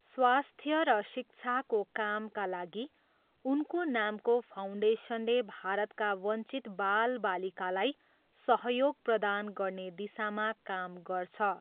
स्वास्थ्य र शिक्षाको कामका लागि उनको नामको फाउन्डेसनले भारतका वञ्चित बालबालिकालाई सहयोग प्रदान गर्ने दिशामा काम गर्छ।